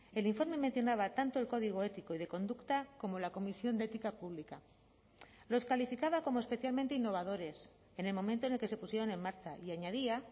el informe mencionaba tanto el código ético y de conducta como la comisión de ética pública los calificaba como especialmente innovadores en el momento en el que se pusieron en marcha y añadía